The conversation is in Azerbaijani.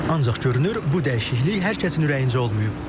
Ancaq görünür, bu dəyişiklik hər kəsin ürəyincə olmayıb.